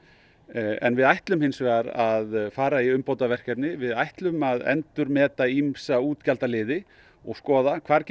en við ætlum hins vegar að fara í umbótaverkefni við ætlum að endurmeta ýmsa útgjaldaliði og skoða hvar